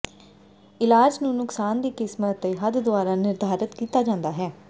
ਇਲਾਜ ਨੂੰ ਨੁਕਸਾਨ ਦੀ ਕਿਸਮ ਅਤੇ ਹੱਦ ਦੁਆਰਾ ਨਿਰਧਾਰਤ ਕੀਤਾ ਜਾਂਦਾ ਹੈ